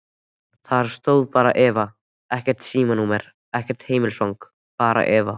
Þar stóð bara Eva, ekkert símanúmer, ekkert heimilisfang, bara Eva.